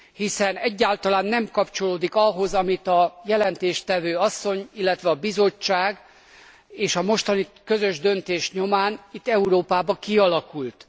Hiszen egyáltalán nem kapcsolódik ahhoz, ami a jelentéstevő asszony, illetve a Bizottság munkája, és a mostani közös döntés nyomán itt Európában kialakult.